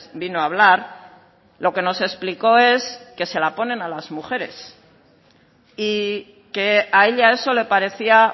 vino a hablar lo que nos explicó es que se las ponen a las mujeres y que a ella eso le parecía